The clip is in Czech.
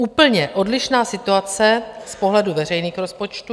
Úplně odlišná situace z pohledu veřejných rozpočtů.